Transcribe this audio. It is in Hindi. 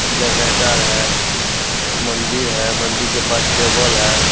जनरेटर है मंदिर है । मंदिर के पास टेबल है ।